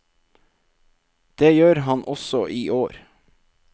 Det gjør han også i år.